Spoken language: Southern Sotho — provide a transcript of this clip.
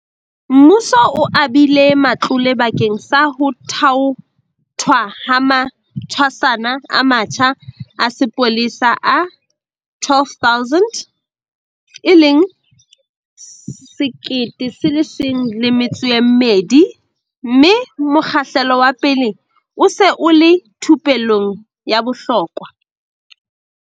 Mmuso o abile matlole bakeng sa ho thaothwa ha matshwasana a matjha a sepolesa a 12 000, mme mokgahlelo wa pele o se o le thupellong ya bohlokwa.